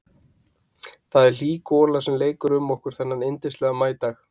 Það er hlý gola sem leikur um okkur þennan yndislega maídag.